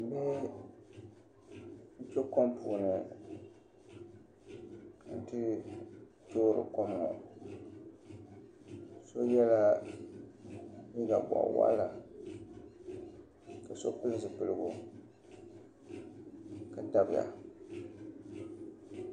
Bihi n bɛ kom puuni n toori kom ŋo so yɛla liiga boɣa waɣala ka so pili zipiligu ka dabiya